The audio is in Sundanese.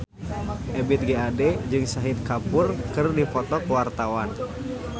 Ebith G. Ade jeung Shahid Kapoor keur dipoto ku wartawan